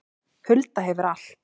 Hulda hefur allt